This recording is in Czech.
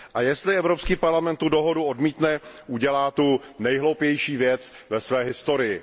A jestli Evropský parlament tu dohodu odmítne, udělá tu nejhloupější věc ve své historii.